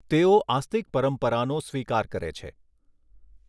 તેઓ આસ્તીક પરંપરાનો સ્વીકાર કરે છે.